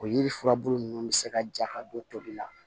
O yiri furabulu ninnu bɛ se ka ja ka don to tobi la